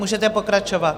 Můžete pokračovat.